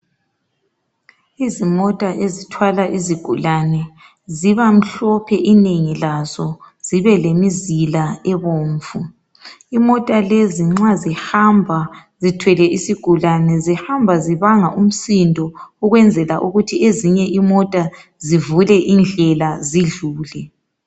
Izimota ezithwala izigulane, zibamhlope inengi lazo, zibelemizila ebomvu. Imota lezi nxa zihamba zithwele isigulane, zihamba zibanga umsindo ukwenzela ukuthi ezinye imota zivule indlela zidlule.